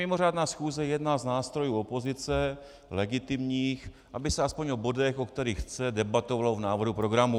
Mimořádná schůze je jedním z nástrojů opozice, legitimních, aby se aspoň o bodech, o kterých chce, debatovalo v návrhu programu.